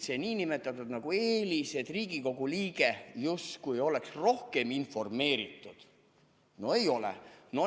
See nn eelis, et Riigikogu liige justkui oleks rohkem informeeritud – no ei ole!